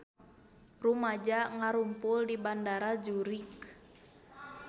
Rumaja ngarumpul di Bandara Zurich